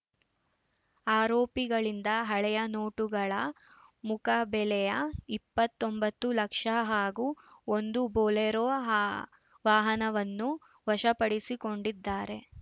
ಆರೋಪಿಗಳಿಂದ ಹಳೆಯ ನೋಟುಗಳ ಮುಖಬೆಲೆಯ ಇಪ್ಪತ್ತೊಂಬತ್ತು ಲಕ್ಷ ಹಾಗೂ ಒಂದು ಬೊಲೆರೋ ವಾಹನವನ್ನು ವಶಪಡಿಸಿಕೊಂಡಿದ್ದಾರೆ